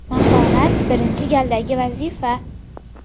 Mahorat birinchi galdagi vazifa.